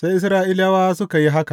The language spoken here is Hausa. Sai Isra’ilawa suka yi haka.